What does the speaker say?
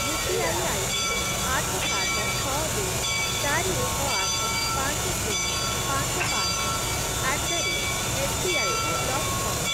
UPI ID ଆଠ, ସାତ, ଛଅ, ଦୁଇ, ଚାରି, ଏକ, ଆଠ, ପାଞ୍ଚ, ଶୂନ, ପାଞ୍ଚ, ପାଞ୍ଚ ଆଟ୍ ଦ ରେଟ୍ ଏସ୍‌ବିଆଇ କୁ ବ୍ଲକ୍ କର।